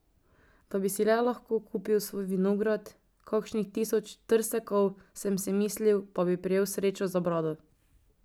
Da bi si le lahko kupil svoj vinograd, kakšnih tisoč trsekov, sem si mislil, pa bi prijel srečo za brado.